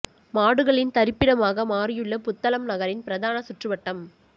மாடுகளின் தரிப்பிடமாக மாறியுள்ள புத்தளம் நகரின் பிரதான சுற்றுவட்டம்